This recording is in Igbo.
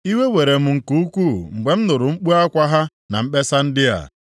Iwe were m nke ukwuu mgbe m nụrụ mkpu akwa ha na mkpesa ndị a.